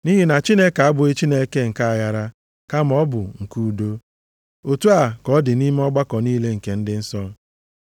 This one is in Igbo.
Nʼihi na Chineke abụghị Chineke nke aghara, kama ọ bụ nke udo. Otu a ka ọ dị nʼime ọgbakọ niile nke ndị nsọ.